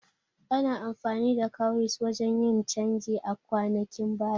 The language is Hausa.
Ana amfani da Kowries wajan yin canji a kwanakin baya